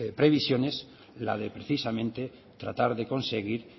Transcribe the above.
previsiones la de precisamente tratar de conseguir